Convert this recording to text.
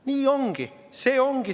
Nii ongi!